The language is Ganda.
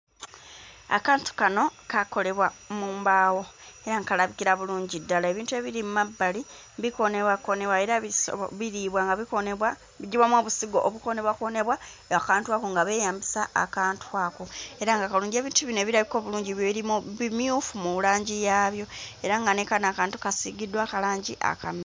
Akantu kano kaakolebwa mu mbaawo era nga kalabikira bulungi ddala ebintu ebiri mmabbali bikoonebwakoonebwa era bisobo biriibwa nga bikoonebwa biggyibwamu obusigo obukoonebwakoonebwa akantu ako nga beeyambisa akantu ako era nga kalungi ebintu bino ebirabika obulungi birimu bimyufu mu langi yaabyo era nga ne kano akantu kasiigiddwa kalangi akamu.